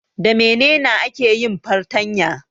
Da menena ake yin fartanya?